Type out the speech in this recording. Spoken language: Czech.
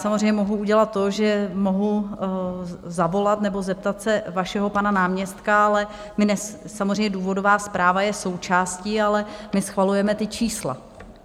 Samozřejmě mohu udělat to, že mohu zavolat nebo zeptat se vašeho pana náměstka, ale samozřejmě důvodová zpráva je součástí, ale my schvalujeme ta čísla.